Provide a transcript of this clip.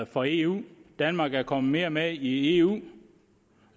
for eu danmark er kommet mere med i eu og